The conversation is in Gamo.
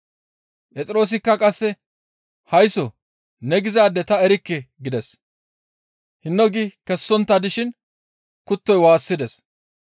Phexroosikka qasse, «Haysso ne gizaade ta erikke!» gides. Hinno gi kessontta dishin kuttoy waassides.